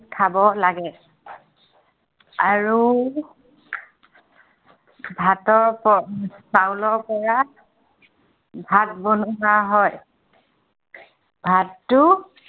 খাব লাগে। আৰু ভাতৰ প, চাউলৰ পৰা ভাত বনোৱা হয়। ভাতটো